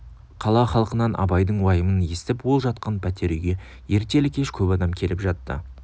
қала халқынан абайдың уайымын естіп ол жатқан пәтер үйге ертелі-кеш көп адам келіп жатты